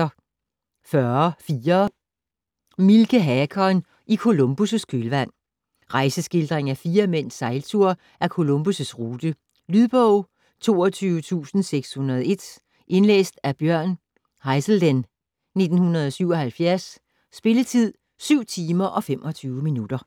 40.4 Mielche, Hakon: I Columbus' kølvand Rejseskildring af fire mænds sejltur ad Columbus' rute. Lydbog 22601 Indlæst af Bjørn Haizelden, 1977. Spilletid: 7 timer, 25 minutter.